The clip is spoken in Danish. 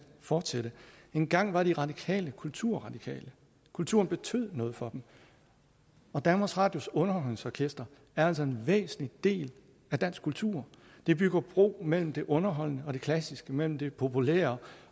fortsætte engang var de radikale kulturradikale kulturen betød noget for dem og danmarks radios underholdningsorkester er altså en væsentlig del af dansk kultur det bygger bro mellem det underholdende og det klassiske mellem det populære